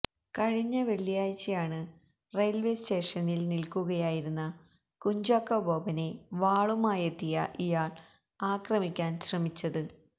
കഴിഞ്ഞ വെള്ളിയാഴ്ചയാണ് റെയിൽവേസ്റ്റേഷനിൽ നിൽക്കുകയായിരുന്ന കുഞ്ചാക്കോ ബോബനെ വാളുമായെത്തിയ ഇയാൾ ആക്രമിക്കാൻ ശ്രമിച്ചത്